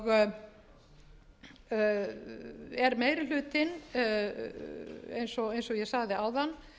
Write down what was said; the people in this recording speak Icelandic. sjálfstætt er meiri hlutinn eins og ég sagði áðan